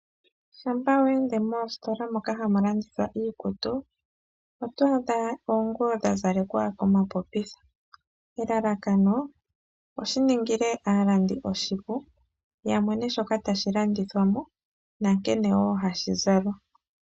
Shampa we ende moositola moka hamu landithwa iikutu, oto adha oonguwo dha zalekwa komapopitha. Elalakano, oshi ningile aalandi oshipu ya mone shoka tashi landithwa mo nankene wo hashi zalwa.